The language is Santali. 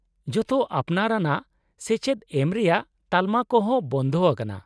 -ᱡᱚᱛᱚ ᱟᱯᱱᱟᱨ ᱟᱱᱟᱜ ᱥᱮᱪᱮᱫ ᱮᱢ ᱨᱮᱭᱟᱜ ᱛᱟᱞᱢᱟ ᱠᱚ ᱦᱚᱸ ᱵᱚᱱᱫᱷᱚ ᱟᱠᱟᱱᱟ ᱾